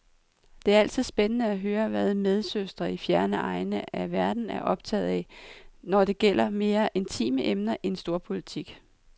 Det er altid spændende at høre, hvad medsøstre i fjerne egne af verden er optaget af, når det gælder mere intime emner end storpolitik.